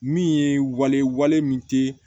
Min ye wale wale min tɛ